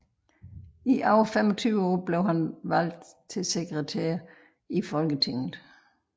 I over 25 år blev han valgt til sekretær i Folketinget